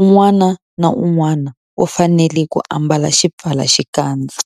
un'wana na un'wana u fanele ku ambala xipfalaxikandza.